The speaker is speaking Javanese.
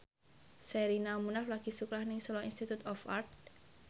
Sherina Munaf lagi sekolah nang Solo Institute of Art